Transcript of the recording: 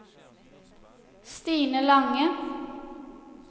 Stine Lange